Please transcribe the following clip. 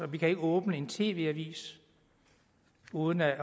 vi kan ikke åbne en tv avis uden at